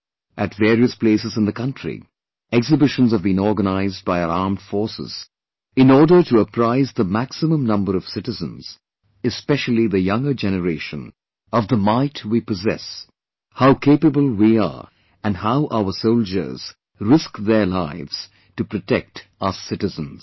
At various places in the country, exhibitions have been organised by our Armed Forces in order to apprise the maximum number of citizens, especially the younger generation, of the might we possess; how capable we are and how our soldiers risk their lives to protect us citizens